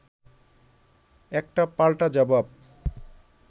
একটা পাল্টা জবাব